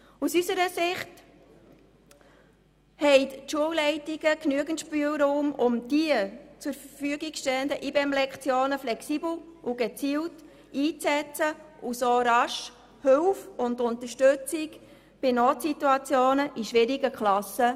Aus unserer Sicht haben die Schulleitungen genügend Spielraum, um die zur Verfügung stehenden IBEM-Lektionen flexibel und gezielt einzusetzen und so rasch Hilfe und Unterstützung in Notsituationen zu leisten.